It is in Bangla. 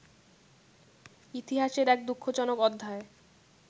ইতিহাসের এক দুঃখজনক অধ্যায়